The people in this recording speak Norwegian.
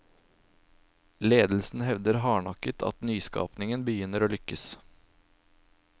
Ledelsen hevder hardnakket at nyskapningen begynner å lykkes.